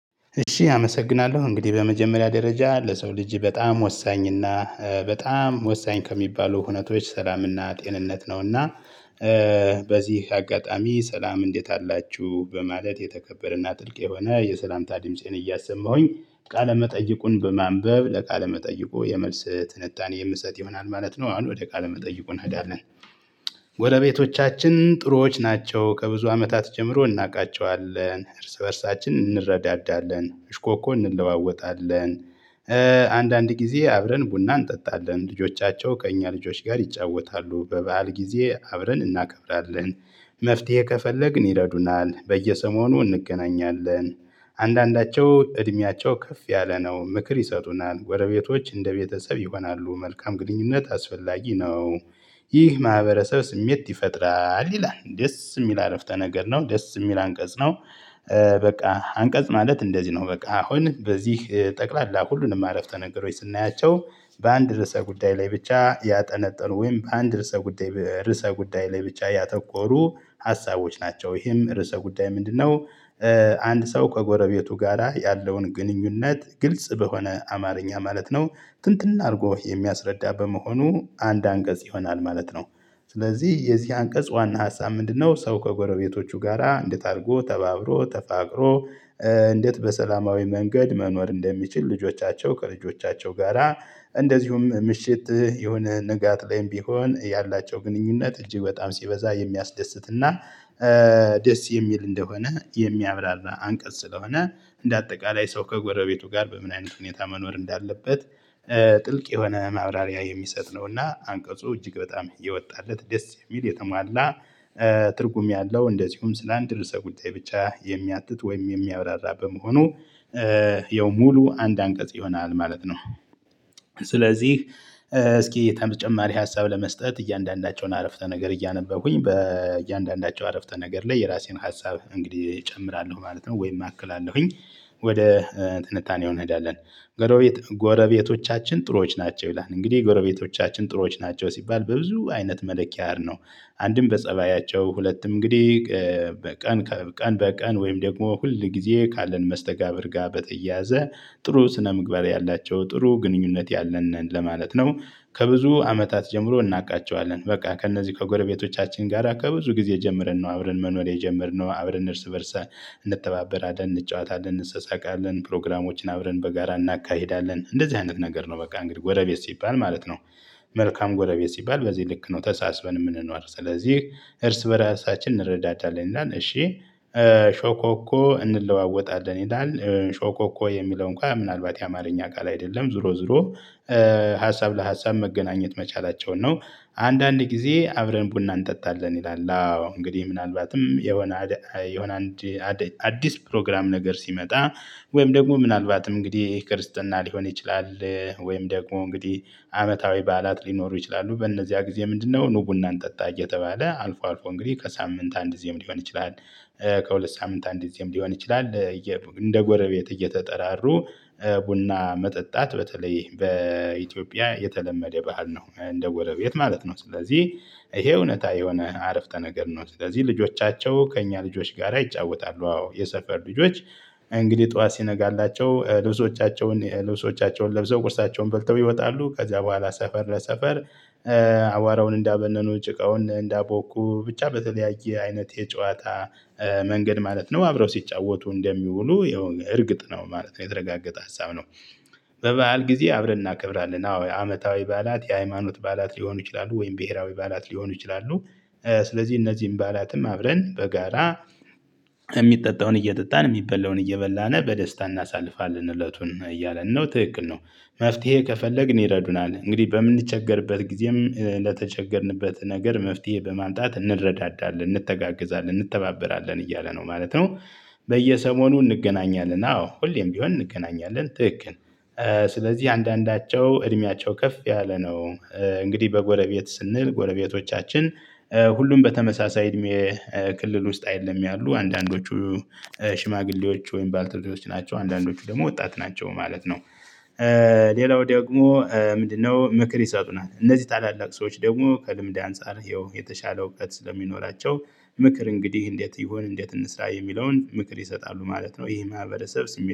እሺ አመሰግናለሁ እንግዲህ በመጀመሪያ ደረጃ ለሰው ልጅ በጣም ወሳኝና በጣም ወሳኝ ከሚባሉ ህውነቶች ሰላምና ጤንነት ነውና። በዚህ አጋጣሚ ሰላም እንዴት አላችሁ በማለት የተከበረና ጥልቅ የሆነ የሰላምታ ድምፄን እያሰማሁኝ ቃለመጠየቁን መጠይቁን በማንበብ ለቃለ መጠይቁ የመልስ ትንታኔ የምሰጥ ይሆናል ማለት ነው። አሁን ወደ ቃል መጠይቁን እንሄዳለን። ጎረቤቶቻችን ጥሩዎች ናቸው ከብዙ አመታት ጀምሮ እናውቃቸዋለን እርስ በእርሳችን እንረዳዳለን እሽኮኮ እንለዋወጣለን። አንዳንድ ጊዜ አብረን ቡና እንጠጣለን ልጆቻቸው ከእኛ ልጆች ጋር ይጫወታሉ በበዓል ጊዜ አብረን እናከብራለን። መፍትሄ ከፈለግን ይረዱናል በየሰሞኑ እንገናኛለን። አንዳንዳቸው እድሜያቸው ከፍ ያለ ነው ምክር ይሰጡናል ጎረቤቶች እንደ ቤተሰብ ይሆናሉ መልካም ግንኙነት አስፈላጊ ነው። ይህ ማህበረሰብ ስሜት ይፈጥራል ይላል ደስ የሚል አረፍተ ነገር ነው ደስ የሚል አንቀጽ ነው። በቃ አንቀጽ ማለት እንደዚህ ነው። በቃ አሁን በዚህ ጠቅላላ ሁሉንም አረፍተ ነገሮች ስናያቸው በአንድ ርዕሰ ጉዳይ ላይ ብቻ ያጠነጥኑ ወይም በአንድ ርዕሰ ጉዳይ ርዕሰ ጉዳይ ላይ ብቻ ያተኮሩ ሀሳቦች ናቸው። ይሄም ርዕሰ ጉዳይ ምንድነው? አንድ ሰው ከጎረቤቱ ጋራ ያለውን ግንኙነት ግልጽ በሆነ አማርኛ ማለት ነው። ትንትን አድርጎ የሚያስረዳ በመሆኑ አንድ አንቀጽ ይሆናል ማለት ነው። ስለዚህ የዚህ አንቀጽ ዋና ሀሳብ ምንድነው? ሰው ከጎረቤቶቹ ጋራ እንዴት አድርጎ ተባብሮ ተፋቅሮ። እንዴት በሰላማዊ መንገድ መኖር እንደሚችል ልጆቻቸው ከልጆቻቸው ጋራ እንደዚሁም ምሽት የሆነ ንጋት ላይም ቢሆን ያላቸው ግንኙነት እጅግ በጣም ሲበዛ የሚያስደስትና። ደስ የሚል እንደሆነ የሚያብራራ አንቀጽ ስለሆነ። እንደ አጠቃላይ ሰው ከጎረቤቱ ጋር በምን አይነት ሁኔታ መኖር እንዳለበት። ጥልቅ የሆነ ማብራሪያ የሚሰጥ ነውና አንቀጹ እጅግ በጣም የወጣለት ደስ የሚል የተሟላ። ትርጉም ያለው እንደዚሁም ስለ አንድ ርዕሰ ጉዳይ ብቻ የሚያትት ወይም የሚያብራራ በመሆኑ። ይኸው ሙሉ አንድ አንቀጽ ይሆናል ማለት ነው። ስለዚህ እስኪ ተጨማሪ ሀሳብ ለመስጠት እያንዳንዳቸውን አረፍተ ነገር እያነበብኩኝ በእያንዳንዳቸው አረፍተ ነገር ላይ የራሴን ሀሳብ እንግዲህ እጨምራለሁ ማለት ነው ወይም አክላለሁኝ። ወደ ጥንታኔው እንሄዳለን። ጎረቤቶቻችን ጥሩዎች ናቸው ይላል እንግዲህ ጎረቤቶቻችን ጥሩዎች ናቸው ሲባል በብዙ አይነት መለኪያ አር ነው። አንድም በፀባያቸው ሁለትም እንግዲህ በቀን በቀን በቀን ወይም ደግሞ ሁል ጊዜ ካለን መስተጋብር ጋር በተየያዘ ጥሩ ስነምግባር ያላቸው ጥሩ ግንኙነት ያለን ነን ለማለት ነው። ከብዙ አመታት ጀምሮ እናውቃቸዋለን። በቃ ከእነዚህ ከጎረቤቶቻችን ጋር ከብዙ ጊዜ ጀምርን ነው አብረን መኖሬ የጀመርነው አብረን እርስ በእርስ። እንተባበረ አደን እንጫወታለን እንሰሳቃለን አይደለን ፕሮግራሞችን አብረን በጋራ እናካሂዳለን እንደዚህ አይነት ነገር ነው። በቃ እንግዲህ ጎረቤት ሲባል ማለት ነው። መልካም ጎረቤት ሲባል በዚህ ልክ ነው። ተሳስበን የምንኖር ስለዚህ እርስ በራሳችን እንረዳታለን። እሺ ሾኮኮ እንለዋወጣለን ይላል ሾኮኮ የሚለው እንኳን ምናልባት የአማርኛ ቃል አይደለም ዞሮ ዞሮ። ሀሳብ ለሀሳብ መገናኘት መቻላቸውን ነው። አንዳንድ ጊዜ አብረን ቡና እንጠጣለን ይላል አዎ እንግዲህ ምናልባትም የሆነ የሆነ አንድ አዲስ ፕሮግራም ነገር ሲመጣ። ወይም ደግሞ ምናልባትም እንግዲህ ከርስትና ሊሆን ይችላል። ወይም ደግሞ እንግዲህ አመታዊ በዓላት ሊኖሩ ይችላሉ በእነዚያ ጊዜ ምንድነው ኑ ቡናን ጠጣ እየተባለ አልፎ አልፎ እንግዲህ ከሳምንት አንድ እዚህም ሊሆን ይችላል። ከሁለት ሳምንት አንድ እዚህም ሊሆን ይችላል። እንደ ጎረቤት እየተጠራሩ ቡና መጠጣት በተለይ በኢትዮጵያ የተለመደ ባህል ነው። እንደ ጎረቤት ማለት ነው። ስለዚህ ይሄ እውነታ የሆነ አረፍተ ነገር ነው። ስለዚህ ልጆቻቸው ከእኛ ልጆች ጋር ይጫወታሉ አዎ የሰፈር ልጆች። እንግዲህ ጠዋት ሲነጋላቸው ልብሶቻቸውን ልብሶቻቸውን ለብሰው ቁርሳቸውን በልተው ይወጣሉ ከዚያ በኋላ ሰፈር ለሰፈር። አዋራውን እንዳበነኑ ጭቃውን እንዳቦኩ ብቻ በተለያየ አይነት የጨዋታ መንገድ ማለት ነው። አብረው ሲጫወቱ እንደሚውሉ ይኸው እርግጥ ነው ማለት ነው የተረጋገጠ ሀሳብ ነው። በበዓል ጊዜ አብረን እናከብራለን። አዎ የአመታዊ በዓላት የሃይማኖት በዓላት ሊሆኑ ይችላሉ ወይም ብሄራዊ በዓላት ሊሆኑ ይችላሉ። ስለዚህ እነዚህን ባዓላትም አብረን በጋራ የሚጠጣውን እየጠጣን የሚበላውን እየበላን በደስታ እናሳልፋለን እለቱን እያለን ነው። ትክክል ነው። መፍትሄ ከፈለግን ይረዱናል እንግዲህ በምንቸገርበት ጊዜም ለተቸገርንበት ነገር መፍትሄ በማምጣት እንረዳዳለን እንተጋገዛለን እንተባበራለን እያለ ነው ማለት ነው። በየሰሞኑ እንገናኛለን አዎ ሁሌም ቢሆን እንገናኛለን ትክክል። ስለዚህ አንዳንዳቸው እድሜያቸው ከፍ ያለ ነው። እንግዲህ በጎረቤት ስንል ጎረቤቶቻችን ሁሉም በተመሳሳይ እድሜ ክልል ውስጥ አይደለም ያሉ አንዳንዶቹ ሽማግሌዎች ወይም ባልተውሎቹ ናቸው አንዳንዶቹ ደግሞ ወጣት ናቸው ማለት ነው። ሌላው ደግሞ ምንድነው? ምክር ይሰጡናል እነዚህ ታላላቅ ሰዎች ደግሞ ከልምድ አንፃር ይኸው የተሻለ እውቀት ስለሚኖራቸው። ምክር እንግዲህ እንዴት ይሁን እንዴት እንስራ የሚለውን ምክር ይሰጣሉ ማለት ነው። ይሄ ማህበረሰብ ስሜት